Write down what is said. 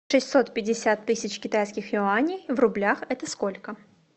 шестьсот пятьдесят тысяч китайских юаней в рублях это сколько